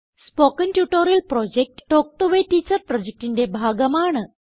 spoken tutorial project talk to a teacher പ്രൊജക്റ്റിന്റെ ഭാഗമാണ്